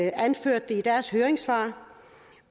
anført det i deres høringssvar